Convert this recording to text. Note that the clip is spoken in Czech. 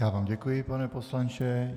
Já vám děkuji, pane poslanče.